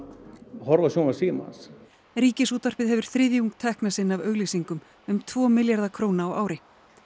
horfðu á sjónvarp Símans Ríkisútvarpið hefur þriðjung tekna sinna af auglýsingum um tvo milljarða króna á ári